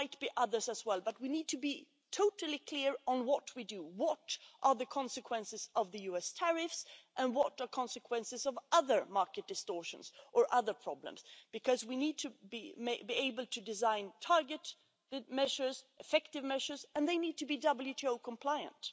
There might be others as well, but we need to be totally clear on what we do, what the consequences of the US tariffs and the consequences of other market distortions or other problems are, because we need to be able to design targeted, effective measures, and they need to be WTO compliant.